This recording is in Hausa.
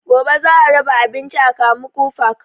Gobe za a raba abinci a kamuku park